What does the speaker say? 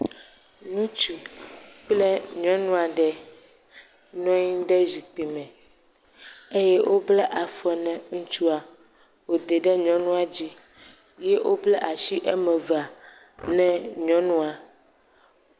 Ŋutsu kple nyɔnu aɖe nɔ anyi ɖe zikpui me eye wobla afɔ na ŋutsua wode ɖe dzi eye wobla asi eme eve na nyɔnua.